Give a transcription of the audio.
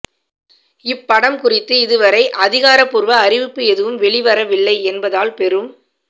இப்படம் குறித்து இதுவரை அதிகாரப்பூர்வ அறிவிப்பு எதுவும் வெளிவரவில்லை என்பதால் பெரும்